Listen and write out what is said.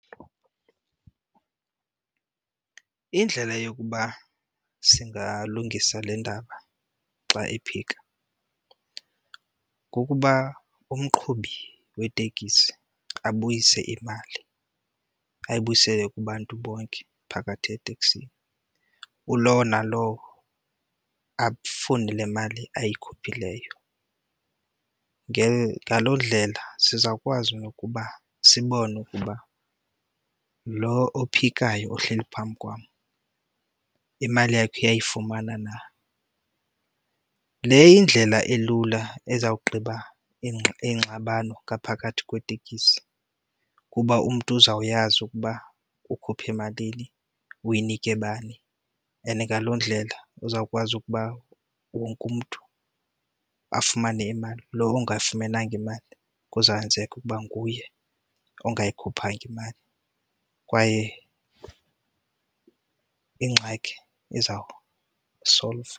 Indlela yokuba singalungisa le ndaba xa ephika kukuba umqhubi wetekisi abuyise imali, ayibuyisele kubantu bonke phakathi eteksini. Kulowo nalowo afune le mali ayikhuphileyo. Ngaloo ndlela sizawukwazi nokuba sibone ukuba lo ophikayo ohleli phambi kwam imali yakhe uyayifumana na. Le yindlela elula esawugqiba ingxabano ngaphakathi kwetekisi kuba umntu uzawuyazi ukuba ukhuphe emalini, uyinike bani and ngaloo ndlela uzawukwazi ukuba wonke umntu afumane imali. Lo ongayifumenanga imali kuzawukwenzeka ukuba nguye ungayikhuphayanga imali kwaye ingxaki izawusolvwa.